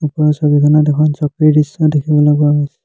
ওপৰৰ ছবিখনত এখন চকীৰ দৃশ্য দেখিবলৈ পোৱা গৈছে।